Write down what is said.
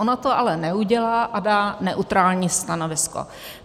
Ona to ale neudělá a dá neutrální stanovisko.